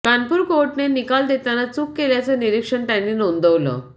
कानपूर कोर्टाने निकाल देताना चूक केल्याचं निरीक्षण त्यांनी नोंदवलं